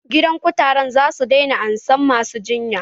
Gidan kutaren zasu daina ansan masu jinya